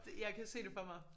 Det jeg kan se det for mig